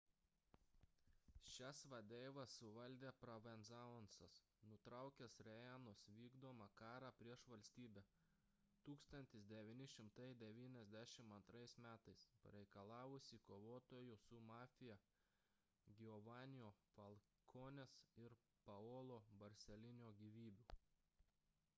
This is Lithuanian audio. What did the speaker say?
šias vadeivas suvaldė provenzano'as nutraukęs riina'os vykdomą karą prieš valstybę 1992 m pareikalavusį kovotojų su mafija giovannio falcone'ės ir paolo borsellino gyvybių